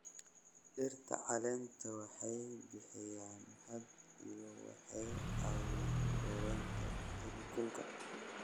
Dhirta caleenta leh waxay bixiyaan hadh iyo waxay caawiyaan yareynta heerkulka.